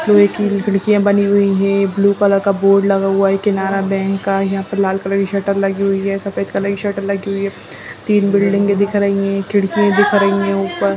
लोहे की खिड़कियाँ बनी हुई हैं ब्लू कलर बोर्ड लगा हुआ है केनरा बैंक का यहाँ पे लाल कलर का शटर लगी हुए है सफ़ेद कलर का शटर लगी हुए है तीन बिल्डिंगे दिख रहें है खिड़की दिख रही हैं ऊपर |